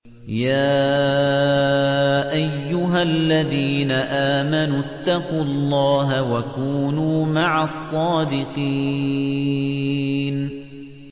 يَا أَيُّهَا الَّذِينَ آمَنُوا اتَّقُوا اللَّهَ وَكُونُوا مَعَ الصَّادِقِينَ